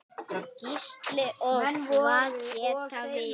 Gísli: Og hvað tekur við?